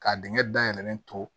Ka dingɛ dayɛlɛlen to